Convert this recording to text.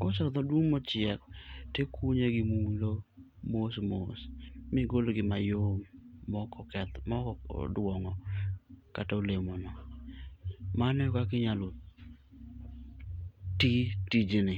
koseloth maduong mochiek to ikunye gi mulo mos mos. Migol gi mayom maok oke oduong'o kata olemono. Mano e kaka inyalo ti tijni.